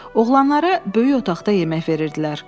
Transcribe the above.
Oğlanlara böyük otaqda yemək verirdilər.